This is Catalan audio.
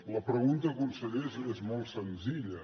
la pregunta conseller és molt senzilla